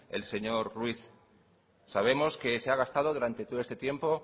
el señor ruiz sabemos que se ha gastado durante todo este tiempo